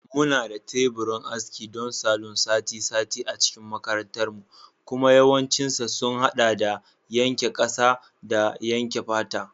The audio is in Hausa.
Muna da teburin aski don salon sati-sati a cikin makarantarmu kuma yawancinsa sun haɗa da yanke ƙasa da yanke fata.